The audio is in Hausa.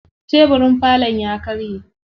Tebirin falon ya karye.